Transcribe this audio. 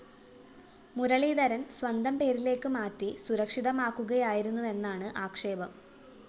മുരളീധരന്‍ സ്വന്തം പേരിലേക്ക് മാറ്റി സുരക്ഷിതമാക്കുകയായിരുന്നുവെന്നാണ് ആക്ഷേപം